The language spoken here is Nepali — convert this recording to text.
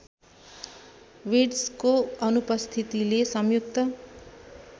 वुड्सको अनुपस्थितिले संयुक्त